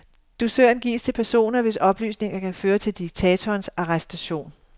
Dusøren gives til personer, hvis oplysninger kan føre til diktatorens arrestation.